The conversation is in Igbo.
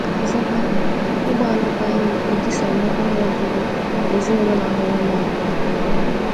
Ọzọkwa, ịgba alụkwaghịm etisawo ọnụ ọgụgụ ezinaụlọ na-abawanye abawanye.